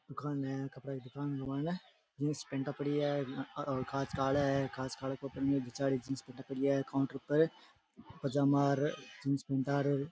दुकान है कपडे की दुकान के मायने जीन्स पेंटा पड़ी है और कांच काला है और कांच काला पजामा और जीन्स पेंटा र --